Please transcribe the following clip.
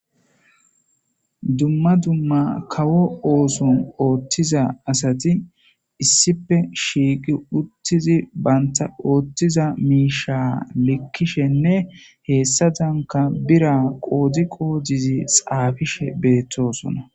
Dumma dumma kawo oso othiza asati issipe shiqi utidi banta othiza misha likishenne hesazaka bira qodo qodidi xafishe betosona